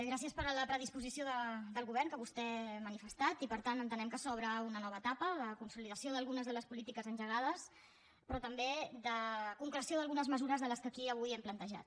gràcies per la predisposició del govern que vostè ha manifestat i per tant entenem que s’obre una nova etapa de consolidació d’algunes de les polítiques engegades però també de concreció d’algunes mesures de les que aquí avui hem plantejat